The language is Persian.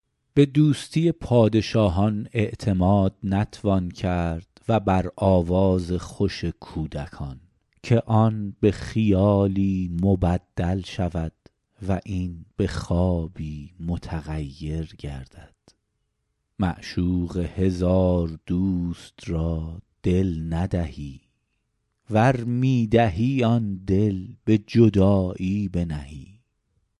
به دوستی پادشاهان اعتماد نتوان کرد و بر آواز خوش کودکان که آن به خیالی مبدل شود و این به خوابی متغیر گردد معشوق هزار دوست را دل ندهی ور می دهی آن دل به جدایی بنهی